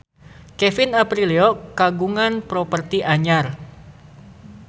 Kevin Aprilio kagungan properti anyar